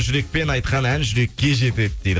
жүрекпен айтқан ән жүрекке жетеді дейді